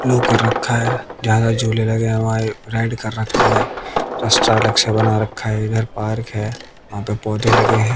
लो कर रखा है। ज्यादा झूले लगे हुए है राइड कर रखा है। रास्ता अलग से बना रखा है इधर पार्क है। वहां पर पौधे लगे हैं।